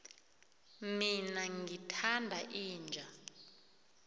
mina ngithanda inja